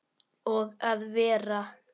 Og að vera